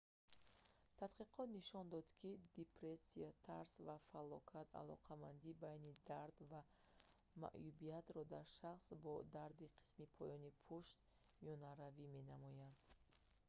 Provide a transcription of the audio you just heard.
тадқиқот нишон дод ки депрессия тарс ва фалокат алоқамандии байни дард ва маъюбиятро дар шахсон бо дарди қисми поёни пушт миёнаравӣ менамоянд